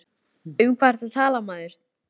Um hvað ertu að tala maður?